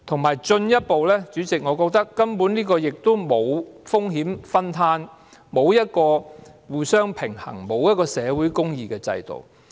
再進一步來說，主席，我認為強積金制度根本沒有風險分攤的效果，是一個欠缺互相平衝，缺乏社會公義的制度。